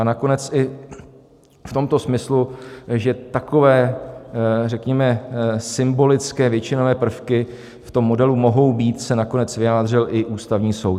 A nakonec i v tomto smyslu, že takové řekněme symbolické většinové prvky v tom modelu mohou být, se nakonec vyjádřil i Ústavní soud.